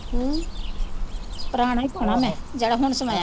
ਹਮ ਪੁਰਾਣੇ ਪਾ ਲਵਾਂ ਮੈਂ ਜਿਹੜਾ ਹੁਣ ਸਵਾਇਆ।